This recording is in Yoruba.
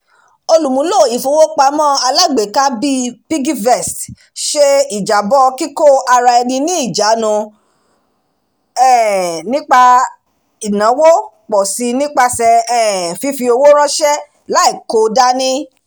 olùmúlò ifowópamọ́-alágbèéká bíi piggyvest ṣe ijabọ kíkóara-ẹni-ni-ìjánu nípa um ìnáwó pọ̀ si nípasẹ̀ um fífi owó ránṣẹ́ láì kò dání